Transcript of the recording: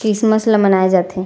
Christmas ला मनाये जाथे --